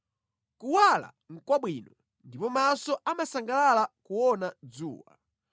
Kuwala nʼkwabwino, ndipo maso amasangalala kuona dzuwa.